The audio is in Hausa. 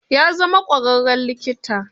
Ya zama ƙwararren likita.